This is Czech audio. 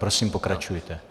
Prosím pokračujte.